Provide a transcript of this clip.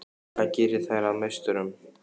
Hvað gerir þær að meisturum?